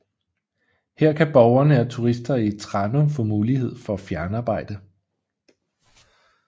Her kan borgerne og turister i Tranum få mulighed for at fjernarbejde